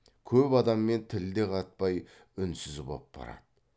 көп адаммен тіл де қатпай үнсіз боп барады